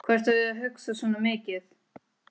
Hvað ertu að hugsa svona mikið?